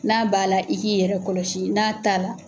N'a b'a la i k'i yɛrɛ kɔlɔsi n'a t'a la.